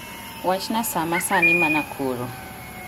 Wachna sa ma sani manakuru